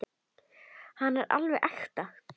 Þetta er alveg ekta.